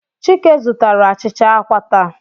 Chike zụtara achịcha àkwá taa.